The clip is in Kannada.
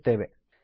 ಬಳಸುತ್ತೇವೆ